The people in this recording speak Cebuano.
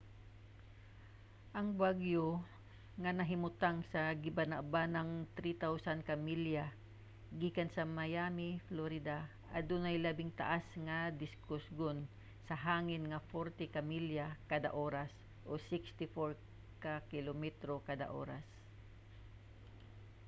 ang bagyo nga nahimutang sa gibanabanang 3,000 ka milya gikan sa miami florida adunay labing taas nga gikusgon sa hangin nga 40 ka milya kada oras 64 ka kilometro kada oras